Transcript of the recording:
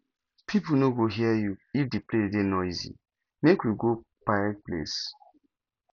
pipo no go hear you if di place dey noisy make we go quiet place